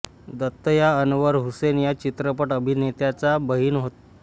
दत्त या अनवर हुसेन या चित्रपट अभिनेत्याच्या बहीण होत